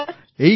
হ্যাঁ স্যার